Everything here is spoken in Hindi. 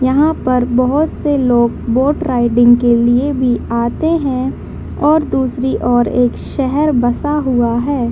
यहां पे बहुत से लोग बोट राइडिंग के लिए भी आते है और दूसरी ओर एक शहर बसा हुआ हैं।